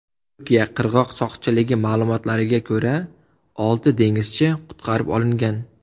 Turkiya qirg‘oq soqchiligi ma’lumotlariga ko‘ra, olti dengizchi qutqarib olingan.